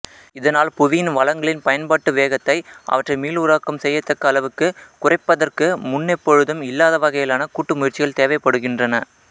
இதனால் புவியின் வளங்களின் பயன்பாட்டு வேகத்தை அவற்றை மீளுருவாக்கம் செய்யத்தக்க அளவுக்குக் குறைப்பதற்கு முன்னெப்பொழுதும் இல்லாத வகையிலான கூட்டுமுயற்சிகள் தேவைப்படுகின்றன